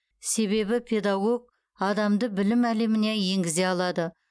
себебі педагог адамды білім әлеміне енгізе алады